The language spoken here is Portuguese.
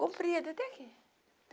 Comprido até aqui.